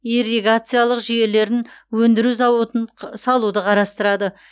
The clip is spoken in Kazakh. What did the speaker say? ирригациялық жүйелерін өндіру зауытын салуды қарастырады